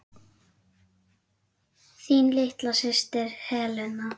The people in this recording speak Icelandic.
Þín litla systir, Helena.